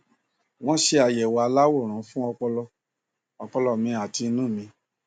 wọn ṣe àyẹwò aláwòrán fún ọpọlọ ọpọlọ mi àti inú mi